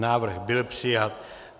Návrh byl přijat.